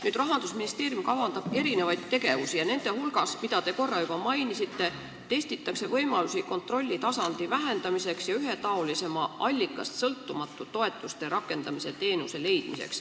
Nüüd, Rahandusministeerium kavandab erinevaid tegevusi, mille hulgas, nagu te juba korra mainisite, testitakse võimalust vähendada kontrollitasandit ja leida ühetaolisem, allikast sõltumatu toetuste rakendamise teenus.